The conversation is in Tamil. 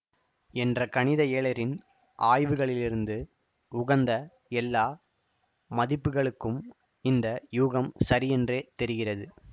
என்ற கணித இயலரின் ஆய்வுகளிலிருந்து உகந்த எல்லா மதிப்புகளுக்கும் இந்த யூகம் சரியென்றே தெரிகிறது